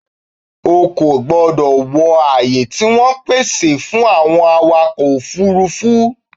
O kò gbọdọ̀ wọ ààyè tí wọ́n pèsè fún àwọn awakọ̀-òfurufú!